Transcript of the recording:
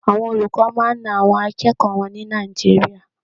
Àwọn olùkọ́ máa ń na àwọn akẹ́kọ̀ọ́ wọn ní Nàìjíríà.